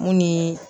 Mun ni